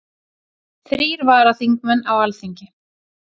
Þrír varaþingmenn á Alþingi